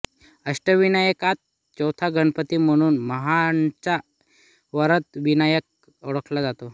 अष्टविनायकात चौथा गणपती म्हणून महाडचा वरदविनायक ओळखला जातो